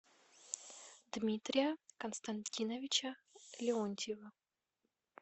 дмитрия константиновича леонтьева